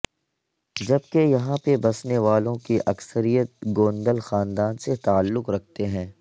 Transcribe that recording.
جب کہ یہاں پہ بسنے والوں کی اکثریت گوندل خاندان سے تعلق رکھتے ہیں